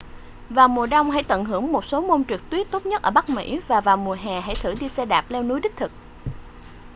vào mùa đông hãy tận hưởng một số môn trượt tuyết tốt nhất ở bắc mỹ và vào mùa hè hãy thử đi xe đạp leo núi đích thực